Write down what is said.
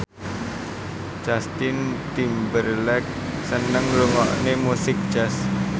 Justin Timberlake seneng ngrungokne musik jazz